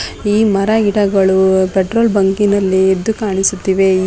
E ಮರ ಗಿಡಗಳು petrol ಬಂಕಿನಲ್ಲಿ ಎದ್ದು ಕಣ್ಣಿಸುತ್ತಿವೆ.